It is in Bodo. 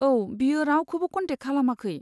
औ, बियो रावखौबो कन्टेक्ट खालामाखै।